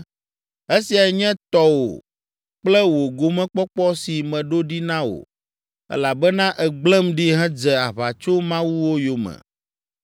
Esiae nye tɔwò kple wò gomekpɔkpɔ si meɖo ɖi na wò, elabena ègblẽm ɖi hedze aʋatsomawuwo yome.